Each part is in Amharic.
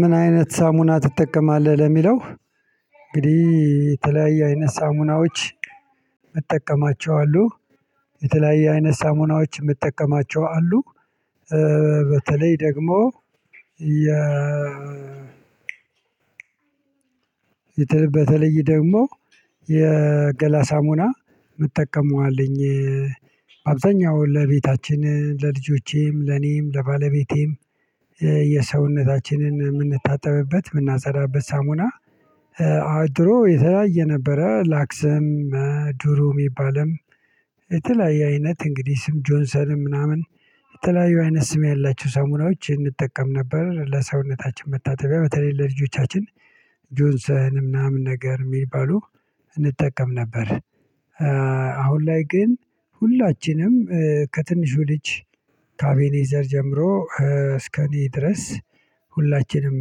ምን አይነት ሳሙና ትጠቀማለህ ለሚለው? እንግዲህ የተለያየ አይነት ሳሙናዎች እጠቀማቸዋሉሁ የተለያየ አይነት ሳሙናዎች የምጠቀማቸው አሉ። በተለይ በተለይ ደግሞ የገላ ሳሙና የመጠቀመው አለኝ። አብዛኛውን ለቤታችን ለልጆቼም ለኔም ለባለቤቴም የሰውነታችንን የምንታጠብበት የምናፀዳበት ሳሙና አ ድሮ የተለያየ ነበረ ላክስም ድሩም የሚባልም የተለያየ አይነት እንግዲህ ስም ጆንሰንም ምናምን የተለያየ አይነት ስም ያላቸው ሰሙናዎች እንጠቀም ነበር ለሰውነታችን መታተቢያ በተለይ ለልጆቻችን ጆንሰን ምናምን ነገር የሚባሉ እንጠቀም ነበር። አሁን ላይ ግን ሁላችንም ከትንሹ ልጅ ካአቬኔዘር ጀምሮ እስከኔ ድረስ ሁላችንም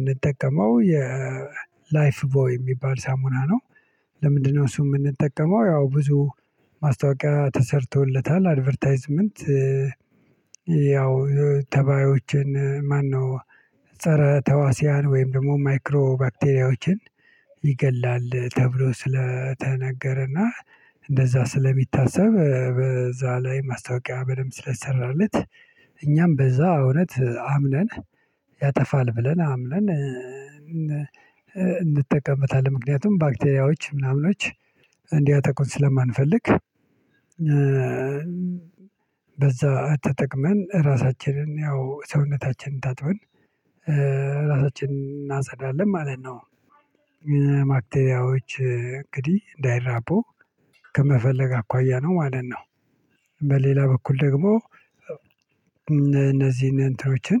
እምንጠቀመው የ ላይፍ ቦይ የሚባል ሳሙና ነው። ለምንድነው እሱ የምንጠቀመው ያው ብዙ ማስታወቂያ ተሰርቶለታል አድቨርታይዝመንት። ያው ተባዮችን ማነው ፀረ ተዋስያን ወይም ደግሞ ማይክሮ ባክቴሪያዎችን ይገላል ተብሎ ስለተነገረና እንደዛ ስለሚታሰብ በዛ ላይ ማስታወቂያ በደንብ ስለተሰራለት እኛም በዛ እውነት አምነን ያጠፋል ብለን አምነን እንጠቀምበታለን ምክንያቱም ባክቴሪያዎች ምናምኖች እንዲያተቁን ስለማንፈልግ። በዛ ተጠቅመን ራሳችንን ያው ሰውነታችንን ታጥበን ራሳችንን እናጸዳለን ማለት ነው። ባክቴሪያዎች እንግዲህ እንዳይራቡ ከመፈለግ አኳያ ነው ማለት ነው። በሌላ በኩል ደግሞ እነዚህን እንትኖችን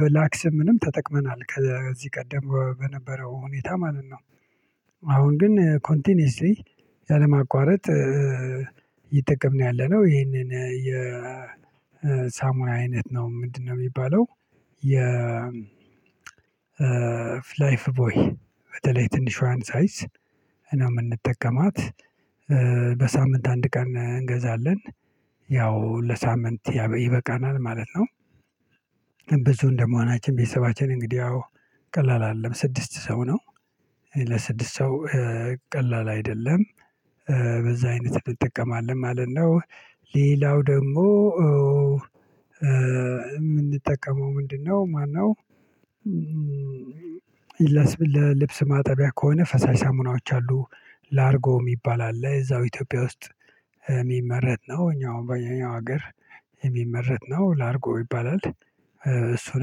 በላክስም ምንም ተጠቅመናል ከዚህ ቀደም በነበረው ሁኔታ ማለት ነው። አሁን ግን ኮንቲኒየስሊ ያለማቋረጥ እይተጠቅምን ነው ያለነው ይሄንን የሳሙና አይነት ነው ምንድነው የሚባለው? የ ላይፍ ቦይ በተለይ ትንሿን ሳይዝ እና የምንጠቀማት በሳምንት አንድ ቀን እንገዛለን ያው ለሳምንት ይበቃናል ማለት ነው። ብዙ እንደመሆናችን ቤተሰባችን እንግዲህ አዎ ቀላል አይደለም ስድስት ሰው ነው። ለስድስት ሰው ቀላል አይደለም። በዛ አይነት እንጠቀማለን ማለት ነው። ሌላው ደግሞ የምንጠቀመው ምንድነው ማነው? ለልብስ ማጠቢያ ከሆነ ፈሳሽ ሳሙናዎች አሉ። ላርጎ የሚባል አለ እዛው ኢትዮጵያ ውስጥ የሚመረጥ ነው እኛ በእኛ ሀገር የሚመረት ነው ላርጎ ይባላል። እሱን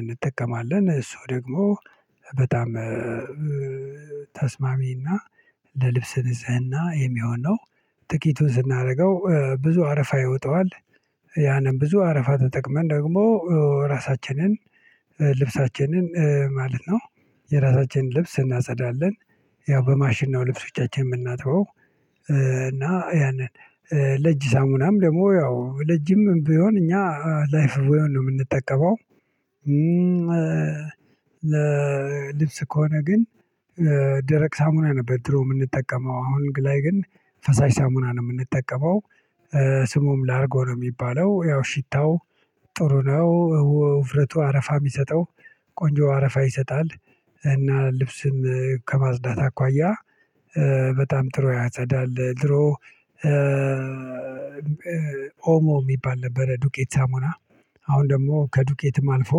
እንጠቀማለን እሱ ደግሞ በጣም ተስማሚና ለልብስ ንጽህና የሚሆን ነው። ጥቂቱን ስናደርገው ብዙ አረፋ ይወጣዋል። ያንን ብዙ አረፋ ተጠቅመን ደግሞ ራሳችንን ልብሳችንን ማለት ነው የራሳችንን ልብስ እናጸዳለን። ያው በማሽን ነው ልብሶቻችን የምናጥበው እና ያንን ለጅ ሳሙናም ደግሞ ያው ለጅም ቢሆን እኛ ላይፍ ቦይዋን ነው የምንጠቀመው። ለልብስ ከሆነ ግን ደረቅ ሳሙና ነበር ድሮ የምንጠቀመው አሁን ግ ላይ ግን ፈሳሽ ሳሙናን ነው የምንጠቀመው። ስሙም ላርጎ ነው የሚባለው ያው ሽታው ጥሩ ነው ውፍረቱ አረፋ የሚሰጠው ቆንጆ አረፋ ይሰጣል። እና ልብስን ከማጽዳት አኳያ በጣም ጥሩ ያጸዳል ድሮ። ኦሞ የሚባል ነበረ ዱቄት ሳሙና አሁን ደግሞ ከዱቄትም አልፎ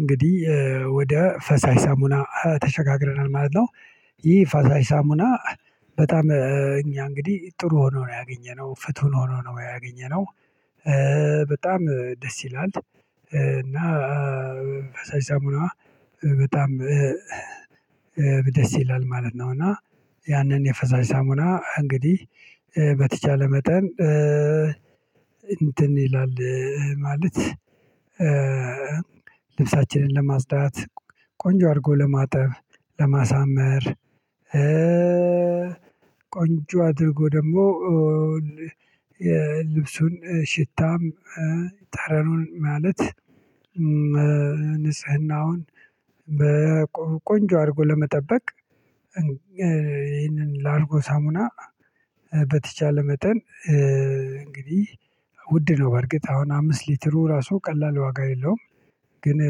እንግዲህ ወደ ፈሳሽ ሳሙና ተሸጋግረናል ማለት ነው። ይህ ፈሳሽ ሳሙና በጣም እኛ እንግዲህ ጥሩ ሆኖ ነው ያገኘነው ፍቱን ሆኖ ነው ያገኘነው። በጣም ደስ ይላል እና ፈሳሽ ሳሙናዋ በጣም ደስ ይላል ማለት ነው። እና ያንን የፈሳሽ ሳሙና እንግዲህ በተቻለ መጠን እንትን ይላል ማለት ልብሳችንን ለማጽዳት ቆንጆ አድርጎ ለማጠብ ለማሳመር ቆንጆ አድርጎ ደግሞ የልብሱን ሽታም ጠረኑን ማለት ንጽህናውን በቆንጆ አድርጎ ለመጠበቅ ይህንን ላርጎ ሳሙና በተቻለ መጠን እንግዲህ ውድ ነው በርግጥ አሁን አምስት ሊትሩ ራሱ ቀላል ዋጋ የለውም ግን